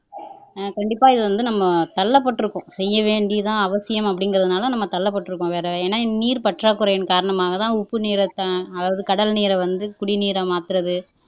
அஹ் கண்டிப்பா இது வந்து நம்ம தள்ளப்படிருக்கோம் செய்ய வேண்டி தான் அவசியம் அப்படிங்கிறதுனால நம்ம தள்ளப்பட்டிருக்கோம் வேற ஏன்னா நீர்ப்பற்றாக்குறையின் காரணமாகத்தான் உப்பு நீரை த அதாவது கடல் நீரை வந்து குடிநீரா மாத்துறது